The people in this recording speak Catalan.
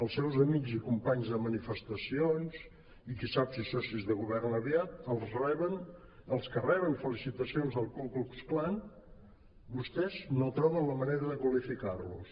el seus amics i companys de manifestacions i qui sap si socis de govern aviat els que reben felicitacions del ku klux klan vostès no troben la manera de qualificar los